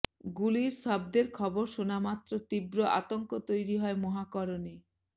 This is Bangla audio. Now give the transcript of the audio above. গুলির শব্দের খবর শোনা মাত্র তীব্র আতঙ্ক তৈরি হয় মহাকারণে